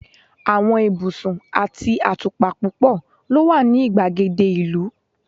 àwọn ibusun ati atupa púpò lo wa ni igbagede ìlú